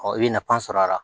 i bɛ nafa sɔrɔ a la